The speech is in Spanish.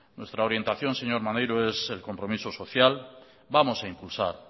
nuestra orientación señor maneiro es el compromiso social vamos a impulsar